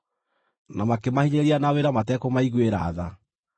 na makĩmahinyĩrĩria na wĩra matekũmaiguĩra tha.